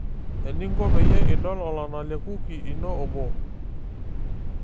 Eninko peyie idol olana lo kuki inoo 1.